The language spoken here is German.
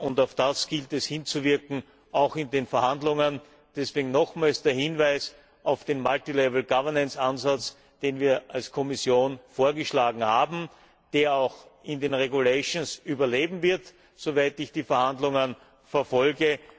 Darauf gilt es hinzuwirken, auch in den Verhandlungen. Deswegen nochmals der Hinweis auf den multi level governance Ansatz, den wir als Kommission vorgeschlagen haben, der auch in den regulations überleben wird, soweit ich die Verhandlungen verfolge.